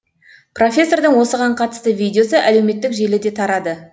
профессордың осыған қатысты видеосы әлеуметтік желіде тарады